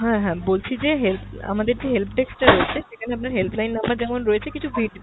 হ্যাঁ হ্যাঁ বলছি যে help আমাদের যে help desk টা রয়েছে সেখানে আপনার help line number যেমন রয়েছে কিছু ভিড~